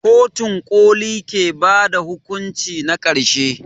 Kotun ƙoli ke ba da hukunci na ƙarshe.